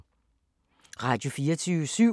Radio24syv